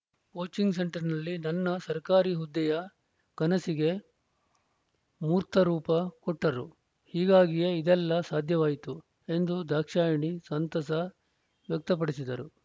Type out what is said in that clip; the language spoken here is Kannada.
ಕೋಚಿಂಗ್‌ ಸೆಂಟರ್‌ನಲ್ಲಿ ನನ್ನ ಸರ್ಕಾರಿ ಹುದ್ದೆಯ ಕನಸಿಗೆ ಮೂರ್ತರೂಪ ಕೊಟ್ಟರು ಹೀಗಾಗಿಯೇ ಇದೆಲ್ಲ ಸಾಧ್ಯವಾಯಿತು ಎಂದು ದಾಕ್ಷಾಯಿಣಿ ಸಂತಸ ವ್ಯಕ್ತಪಡಿಸಿದರು